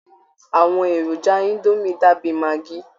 Àwọn èròjà indomie dàbí maggi